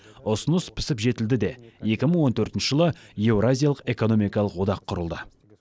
ұсыныс пісіп жетілді де екі мың он төртінші жылы еуразиялық экономикалық одақ құрылды